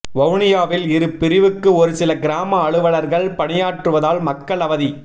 வவுனியாவில் இரு பிரிவுக்கு ஒரு சில கிராம அலுவலர்கள் பணியாற்றுவதால் மக்கள் அவதி